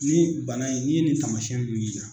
N'i ye bana in n'i ye nin taamasɛn nun y'i la